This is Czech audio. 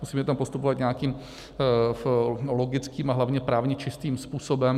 Musíme tam postupovat nějakým logickým a hlavně právně čistým způsobem.